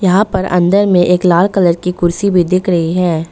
यहां पर अंदर में एक लाल कलर की कुर्सी भी दिख रही है।